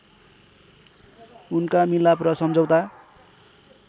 उनका मिलाप र सम्झौता